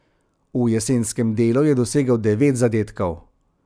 V jesenskem delu je dosegel devet zadetkov.